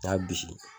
N y'a bisigi